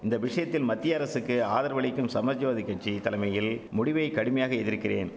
இந்த விஷயத்தில் மத்திய அரசுக்கு ஆதரவு அளிக்கும் சமாஜ்வாதி கட்சி தலமையில் முடிவை கடுமையாக எதிர்க்கிறேன்